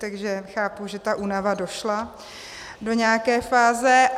Takže chápu, že ta únava došla do nějaké fáze.